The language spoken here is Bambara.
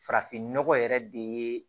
Farafinnɔgɔ yɛrɛ de ye